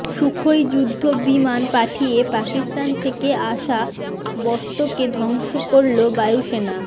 Sukhoi যুদ্ধবিমান পাঠিয়ে পাকিস্তান থেকে আসা বস্তুকে ধ্বংস করল বায়ুসেনা